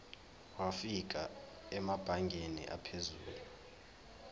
wafika emabangeni aphezulu